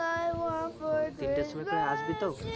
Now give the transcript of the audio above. ও তিনটের সময় করে আসবি তো?